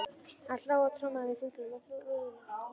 Hann hló og trommaði með fingrunum á rúðuna.